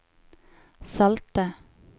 salte